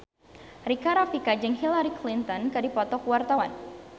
Rika Rafika jeung Hillary Clinton keur dipoto ku wartawan